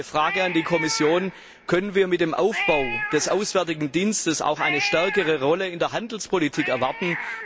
Deshalb meine Frage an die Kommission Können wir mit dem Aufbau des Auswärtigen Dienstes auch eine stärkere Rolle in der Handelspolitik erwarten?